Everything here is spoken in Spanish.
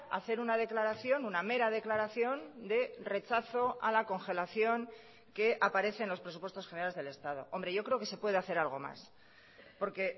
hacer una declaración una mera declaración de rechazo a la congelación que aparece en los presupuestos generales del estado hombre yo creo que se puede hacer algo más porque